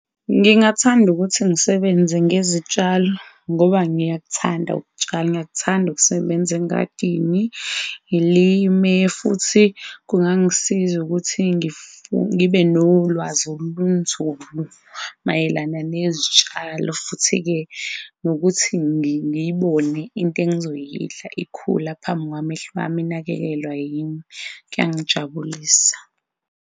Ngingathanda ukuthi ngisebenze ngezitshalo ngoba ngiyakuthanda ukutshala, ngiyakuthanda ukusebenza engadini, ngilime futhi kungangisiza ukuthi ngibe nolwazi olunzulu mayelana nezitshalo, futhi ke, nokuthi ngiyibone into engizoyidla ikhula phambi kwamehlo wami, inakekelwa yini Kuyangijabulisa.